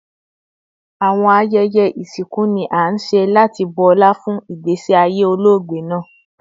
Awọn ayẹyẹ isinku ni a nṣe lati bu ọla fun igbesi aye ologbe naa